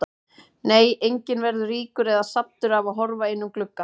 Nei, enginn verður ríkur eða saddur af að horfa inn um glugga.